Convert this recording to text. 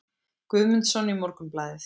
Guðmundsson í Morgunblaðið.